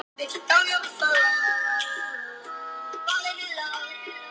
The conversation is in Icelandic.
Lerkiási